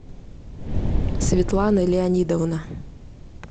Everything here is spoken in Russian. светлана леонидовна